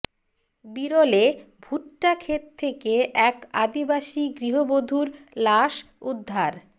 বিরলে ভুট্টা ক্ষেত থেকে এক আদিবাসি গৃহবধূর লাশ উদ্ধার